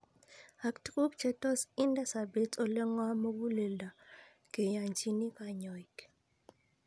Ak tuguk che tos inde sobet ole ng'om mug'uleldo keyanchini kanyoik